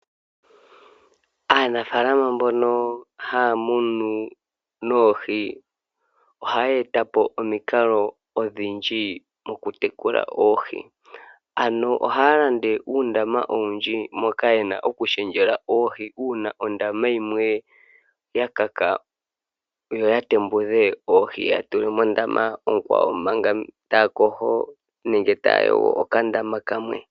Aanafaalama mbono haya munu noohi, ohaya eta po omikalo odhindji mokutekula oohi, ano ohaya landa uundama owundji moka yena okulundululila oohi, uuna ondama yimwe yakaka yo ya tembudhe oohi yatule mondama onkwawo manga taya kohi nenge taya yogo okandama kamwe.